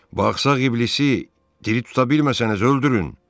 Baxsaq İblisi diri tuta bilməsəniz öldürün.